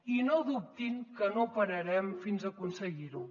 i no dubtin que no pararem fins a aconseguir ho